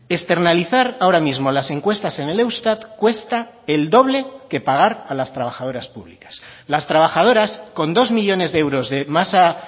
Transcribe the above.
externalizar ahora mismo las encuestas en el eustat cuesta el doble que pagar a las trabajadoras públicas las trabajadoras con dos millónes de euros de masa